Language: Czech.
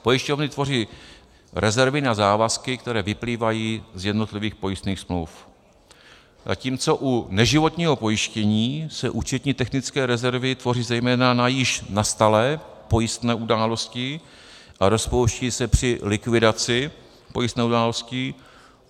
Pojišťovny tvoří rezervy na závazky, které vyplývají z jednotlivých pojistných smluv, zatímco u neživotního pojištění se účetní technické rezervy tvoří zejména na již nastalé pojistné události a rozpouští se při likvidaci pojistné události.